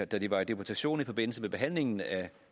da de var i deputation i forbindelse med behandlingen af